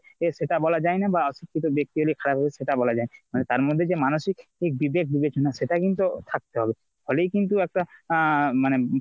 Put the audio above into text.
এ সেটা বলা হয়না বা অশিক্ষিত ব্যাক্তি হলে খারাপ হবে সেটা বলা যায়না। তার মধ্যে যে মানসিক বিবেক বিবেক সেটা কিন্তু থাকতে হবে ফলেই কিন্তু একটা আহ মানে